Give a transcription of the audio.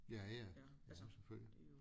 Ja ja ja selvfølgelig